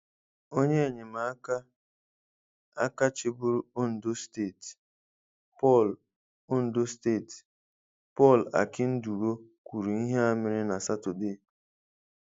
Onye ènyèmaka áká chịbụ́rụ́ Ondo Steeti, Paul Ondo Steeti, Paul Akinduro, kwùrù íhé à mérénụ nà Sátọdee.